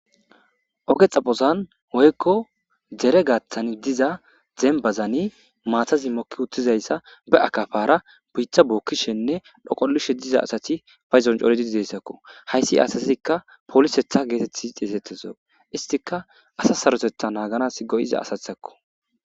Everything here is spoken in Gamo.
Ogee xaphphozanni woyikko dere gaththanni diza dennibazinni maatazi moki uttizayissa bee akafara bita bokishshenne dhoqolishshe diza asati payiddonni cooriddi dizayissatakko .hayissi asazikka poliseththa getettidi xeyisettizo issitikka asa Saroteththa naganasi go'iza asateththakko.